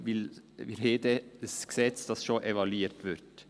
Denn wir haben dann ein Gesetz, das schon evaluiert wird.